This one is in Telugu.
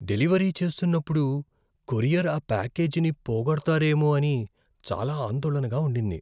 డెలివరీ చేస్తున్నపుడు కొరియర్ ఆ ప్యాకేజీని పోగొడతారేమో అని చాలా ఆందోళనగా ఉండింది.